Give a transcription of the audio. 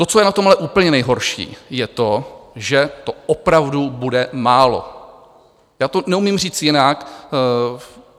To, co je na tom ale úplně nejhorší, je to, že to opravdu bude málo, já to neumím říct jinak.